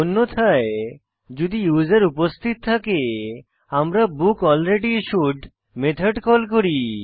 অন্যথায় যদি ইউসার উপস্থিত থাকে আমরা বুকলরেডিস্যুড মেথড কল করি